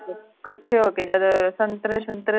ਕੱਠੇ ਹੋ ਕੇ ਜਦ ਸੰਤਰੇ ਸੁਤਰੇ